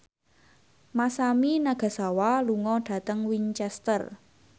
Masami Nagasawa lunga dhateng Winchester